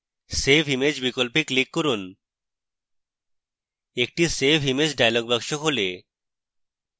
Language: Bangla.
save image বিকল্পে click করুন একটি save image dialog box খোলে